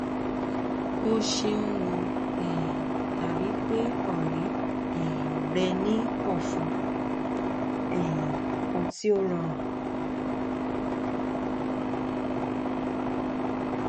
o ṣeun o um dabi pe ọrẹ um rẹ ni ọfun um kan ti o rọrun